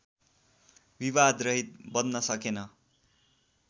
विवादरहित बन्न सकेन